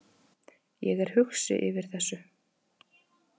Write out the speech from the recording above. Ég er hugsi yfir þessu.